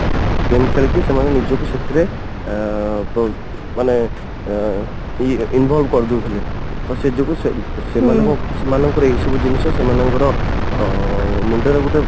game ଖେଳିକି ସେମାନେ ନିଜକୁ ସେଥିରେ ଅଂ ମାନେ ଅଂ involve କରିଦଉଥିଲେ ତ ସେ ଯୋଗୁ ସେ ସେମାନଙ୍କର ଏଇ ସବୁ ଜିନିଷ ସେମାନଙ୍କର ଅ ମୁଣ୍ଡ ରେ ଗୋଟେ